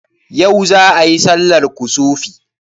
Yau za ayi sallar kusufi?